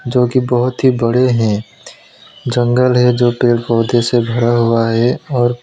जोकि बहोत ही बड़े हैं जंगल है जो पेड़ पौधे से भरा हुआ है और--